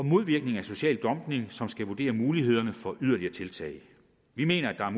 modvirkning af social dumping som skal vurdere mulighederne for yderligere tiltag vi mener at der